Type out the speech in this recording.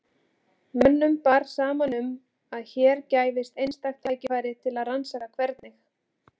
Mönnum bar saman um að hér gæfist einstakt tækifæri til að rannsaka hvernig